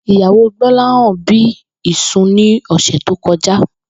Ìyàwó Gbó̩láhàn bí ìsun ní ò̩sè̩ tó ko̩já